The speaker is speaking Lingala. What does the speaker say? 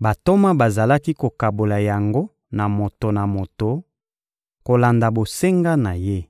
Bantoma bazalaki kokabola yango na moto na moto, kolanda bosenga na ye.